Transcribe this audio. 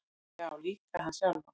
Já, líka hann sjálfan.